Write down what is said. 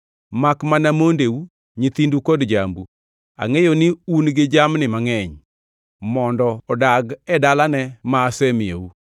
Makmana mondeu, nyithindu kod jambu (angʼeyo ni un gi jamni mangʼeny), mondo odag e dalane ma asemiyou,